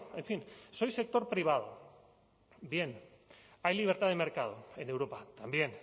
en fin soy sector privado bien hay libertad de mercado en europa también